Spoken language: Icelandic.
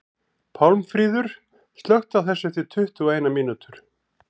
Pálmfríður, slökktu á þessu eftir tuttugu og eina mínútur.